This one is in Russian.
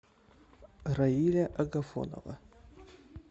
раиля агафонова